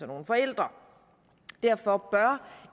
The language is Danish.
nogle forældre derfor bør